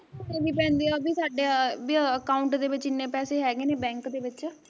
ਦਿਖਾਉਣੇ ਵੀ ਪੈਂਦੇ ਆ ਵੀ ਸਾਡਾ ਵੀ account ਦੇ ਵਿੱਚ ਇਨੇ ਪੈਸੇ ਹੈਗੇ ਨੇ ਬੈਂਕ ਦੇ ਵਿੱਚ